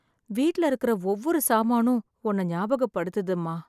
வீட்ல இருக்குற ஒவ்வொரு சாமானும் ஒன்ன ஞாபகப்படுத்துது அம்மா.